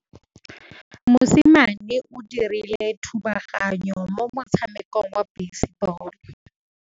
Mosimane o dirile thubaganyô mo motshamekong wa basebôlô.